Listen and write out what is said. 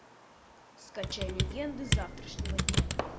скачай легенды завтрашнего дня